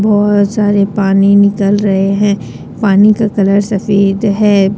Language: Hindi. बहुत सारे पानी निकल रहे हैं पानी का कलर सफ़ेद है।